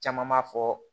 Caman b'a fɔ